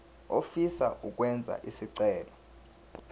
ofisa ukwenza isicelo